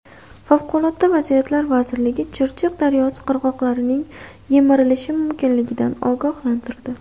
Favqulodda vaziyatlar vazirligi Chirchiq daryosi qirg‘oqlarining yemirilishi mumkinligidan ogohlantirdi.